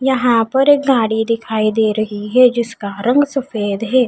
यहाँ पर एक गाड़ी दिखाई दे रही है जिसका रंग सफ़ेद है।